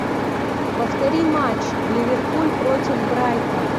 повтори матч ливерпуль против брайтон